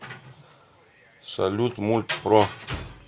салют мульт про